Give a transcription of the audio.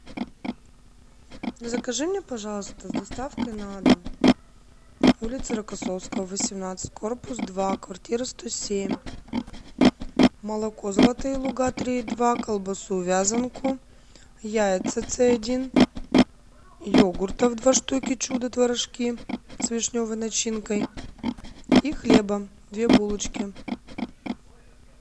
закажи мне пожалуйста с доставкой на дом улица рокоссовского восемнадцать корпус два квартира сто семь молоко золотые луга три и два колбасу вязанку яйца цэ один йогуртов два штуки чудо творожки с вишневой начинкой и хлеба две булочки